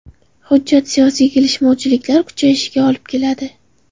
Hujjat siyosiy kelishmovchiliklar kuchayishiga olib keladi.